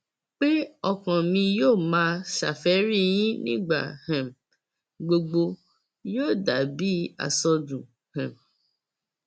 pé ọkàn mi yóò máa ṣàfẹrí yín nígbà um gbogbo yóò dà bíi àsọdùn um